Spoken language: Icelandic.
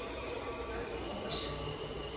ætla að nota sér það.